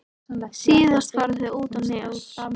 Síðast fara þau út á Nes.